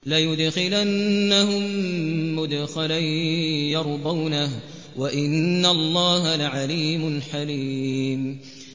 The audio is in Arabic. لَيُدْخِلَنَّهُم مُّدْخَلًا يَرْضَوْنَهُ ۗ وَإِنَّ اللَّهَ لَعَلِيمٌ حَلِيمٌ